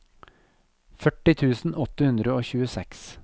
førti tusen åtte hundre og tjueseks